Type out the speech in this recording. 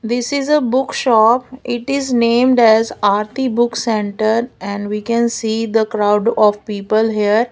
this is a book shop it is named as aarti book centre and we can see the crowd of people here.